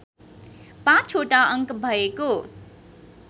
पाचवटा अङ्क भएको